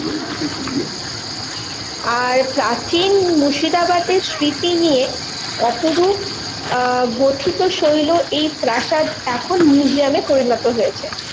আর প্রাচীন মুর্শিদাবাদের স্মৃতি নিয়ে, অপরূপ আহ গোথিও শৈল এই প্রাসাদ এখন museum এ পরিণত হয়েছে।